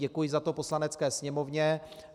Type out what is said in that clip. Děkuji za to Poslanecké sněmovně.